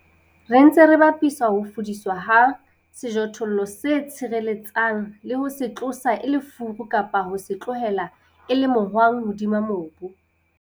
Re ntse re bapisa ho fudiswa ha sejothollo se tshireletsang le ho se tlosa e le furu kapa ho se tlohela e le mohwang hodima mobu.